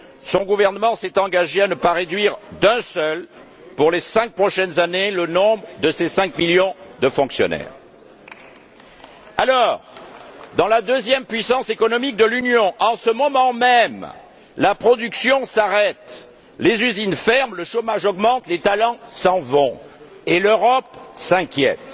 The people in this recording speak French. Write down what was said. Son gouvernement s'est engagé à ne pas réduire d'une seule unité, pour les cinq prochaines années, le nombre de ses cinq millions de fonctionnaires. Alors, dans la deuxième puissance économique de l'Union, en ce moment même, la production s'arrête, les usines ferment, le chômage augmente, les talents s'en vont, et l'Europe s'inquiète.